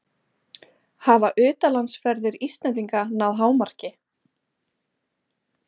Hafa utanlandsferðir Íslendinga náð hámarki?